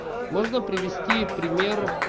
можно привести пример